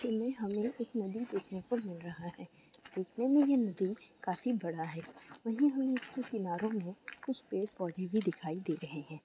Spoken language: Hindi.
इसमे हमें एक नदी देखने को मिल रहा है| दिखने में ये नदी काफी बडा है| वही हम इसके किनारो मे कुछ पेड़ पोधे भी दिखाई दे रहे है।